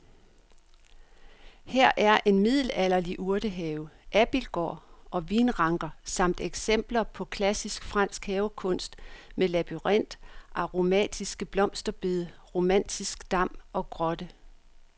Her er middelalderlig urtehave, abildgård og vinranker samt eksempler på klassisk fransk havekunst med labyrint, aromatiske blomsterbede, romantisk dam og grotte.